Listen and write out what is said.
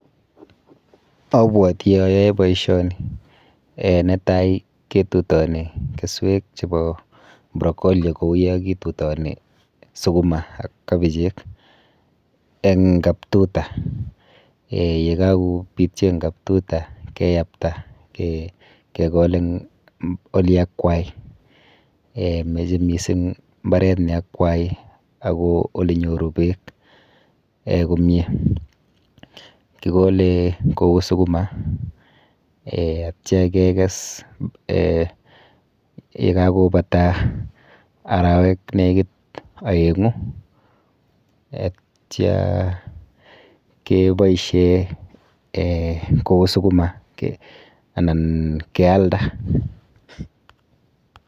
Abwoti ayoe boisioni. um Netai ketutoni keswek chepo broccoli kou yokitutoni sukuma ak kabichek eng kap tuta um yekakopityo eng kap tuta keyapta kekol eng oliakwai. [um]Meche mising mbaret neakwai ak ko olenyoru beeek [um]komie. Kikole kou sukuma um atya kekes um yekakobata arawek nekit oeng'u atya keboishe um kou sukuma anan kealda.